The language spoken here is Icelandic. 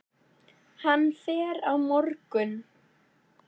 Hann fer á morgun.